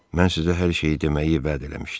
Mən sizə hər şeyi deməyi vəd eləmişdim.